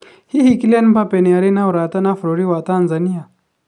Hihi Kylian Mbappe nĩ arĩ ũrata na bũrũri wa Tanzania?